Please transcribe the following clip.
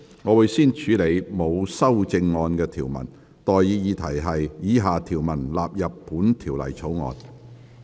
我現在向各位提出的待議議題是：以下條文納入本條例草案。